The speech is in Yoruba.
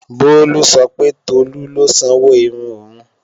Bolu sọ pé Tolu ló sanwó irun òun